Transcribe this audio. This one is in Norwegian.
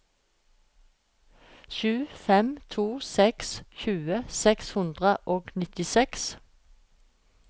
sju fem to seks tjue seks hundre og nittiseks